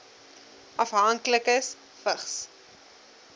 afhanklikes vigs